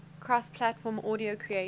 cross platform audio creation